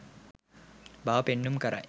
බව පෙන්නුම් කරයි.